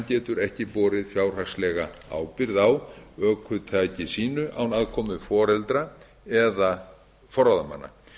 getur ekki borið fjárhagslega ábyrgð á ökutæki sínu án aðkomu foreldra eða forráðamanna